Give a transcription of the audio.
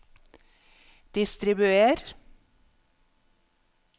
distribuer